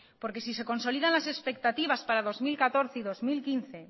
si se consolidan las expectativas para dos mil catorce y dos mil quince